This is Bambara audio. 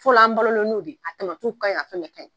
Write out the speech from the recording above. Fɔlɔ an balo la n'o de ye, a tɔmatiw kaɲi fɛn bɛ kagni.